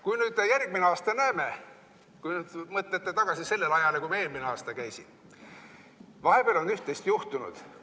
Kui nüüd järgmine aasta näeme – kui mõtlete tagasi sellele ajale, kui ma eelmine aasta käisin –, siis vahepeal on üht-teist juhtunud.